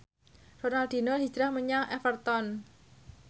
Ronaldinho hijrah menyang Everton